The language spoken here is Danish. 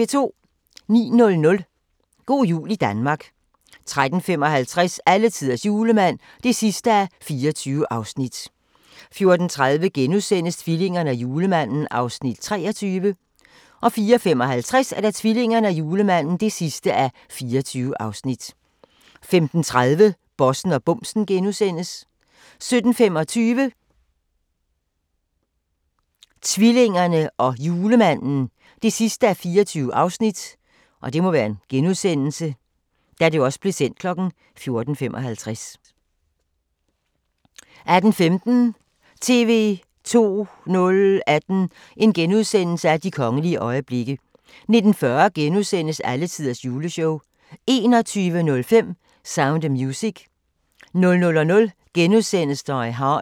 09:00: Go' jul Danmark 13:55: Alletiders julemand (24:24) 14:30: Tvillingerne og julemanden (23:24)* 14:55: Tvillingerne og julemanden (24:24) 15:30: Bossen og bumsen * 17:25: Tvillingerne og julemanden (24:24) 18:15: TV 2 018: De kongelige øjeblikke * 19:40: Alletiders juleshow * 21:05: Sound of Music 00:00: Die Hard *